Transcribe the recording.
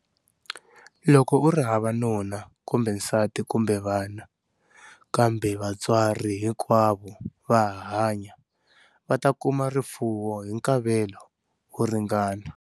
Loko u ri hava nuna kumbe nsati kumbe vana, kambe vantswari hinkwavo va ha hanya, va ta kuma rifuwo hi nkavelo wo ringana.